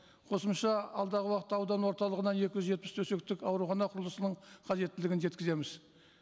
қосымша алдағы уақытта аудан орталығына екі жүз жетпіс төсектік аурухана құрылысының қажеттілігін жеткіземіз